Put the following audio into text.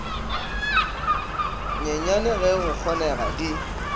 nyenyane ge go kgonega di